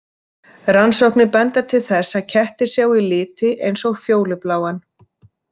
Rannsóknir benda til þess að kettir sjái liti eins og fjólubláan.